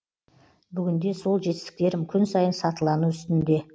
бүгінде сол жетістіктерім күн сайын сатылану үстінде